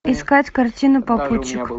искать картину попутчик